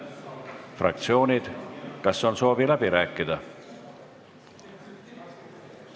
Kas fraktsioonidel on soovi avada läbirääkimised?